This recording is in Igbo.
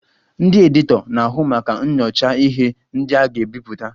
Ndị editọ na-ahụ maka nyochaa ihe ndị a ga-ebipụta